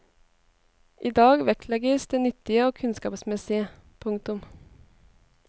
I dag vektlegges det nyttige og kunnskapsmessige. punktum